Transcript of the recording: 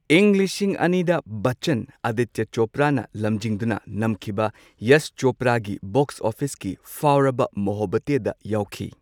ꯏꯪ ꯂꯤꯁꯤꯡ ꯑꯅꯤꯗ ꯕꯆꯆꯟ ꯑꯗꯤꯇ꯭ꯌ ꯆꯣꯄ꯭ꯔꯥꯅ ꯂꯝꯖꯤꯡꯗꯨꯅ ꯅꯝꯈꯤꯕ ꯌꯁ ꯆꯣꯄ꯭ꯔꯥꯒꯤ ꯕꯣꯛ꯭ꯁ ꯑꯣꯐꯤꯁꯀꯤ ꯐꯥꯎꯔꯕ ꯃꯣꯍꯕꯕꯇꯦꯗ ꯌꯥꯎꯈꯤ꯫